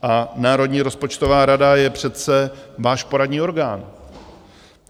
A Národní rozpočtová rada je přece váš poradní orgán.